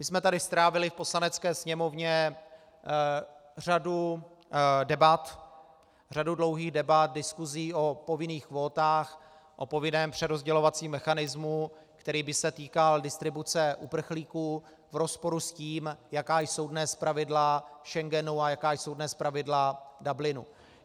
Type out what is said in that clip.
My jsme tady strávili v Poslanecké sněmovně řadu debat, řadu dlouhých debat, diskusí o povinných kvótách, o povinném přerozdělovacím mechanismu, který by se týkal distribuce uprchlíků v rozporu s tím, jaká jsou dnes pravidla Schengenu a jaká jsou dnes pravidla Dublinu.